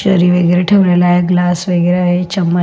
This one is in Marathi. चेरी वगैरा ठेवलेले आहे ग्लास वगैरा आहे चमच --